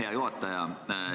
Hea juhataja!